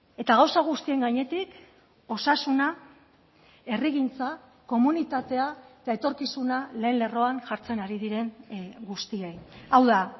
eta gauza guztien gainetik osasuna herrigintza komunitatea eta etorkizuna lehen lerroan jartzen ari diren guztiei hau da